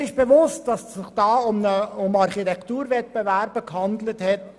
Mir ist bewusst, dass es sich dabei um anonyme Architekturwettbewerbe gehandelt hat.